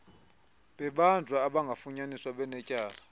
bebanjwa abakafunyaniswa benetyala